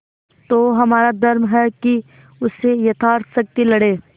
तो हमारा धर्म है कि उससे यथाशक्ति लड़ें